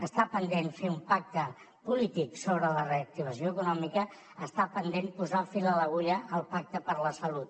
està pendent fer un pacte polític sobre la reactivació econòmica està pendent posar fil a l’agulla al pacte per a la salut